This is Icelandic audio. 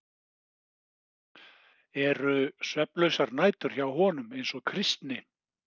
Eru svefnlausar nætur hjá honum eins og Kristni?